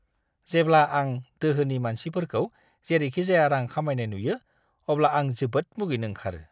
जेब्ला आं दोहोनि मानसिफोरखौ जेरैखिजाया रां खामायनाय नुयो, अब्ला आं जोबोद मुगैनो ओंखारो!